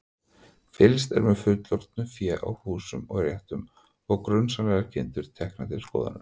Fylgst er með fullorðnu fé í húsum og réttum og grunsamlegar kindur teknar til skoðunar.